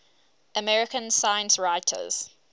american science writers